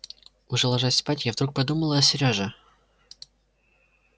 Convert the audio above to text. уже ложась спать я вдруг подумала о сереже